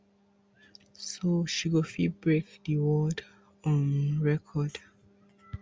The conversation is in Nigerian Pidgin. so she go fit break di world um record